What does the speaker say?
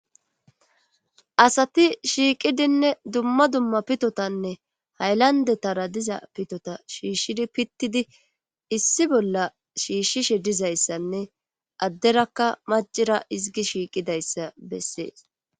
asati shiiqidinne dumma dumma pitotanne haylandetara diza pitota shiishshidi pittidi issi bolla shiishshishe dizayssanne adderakka macira izgi shiiqidayssa bessees